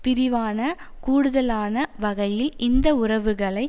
பிரிவான கூடுதலான வகையில் இந்த உறவுகளை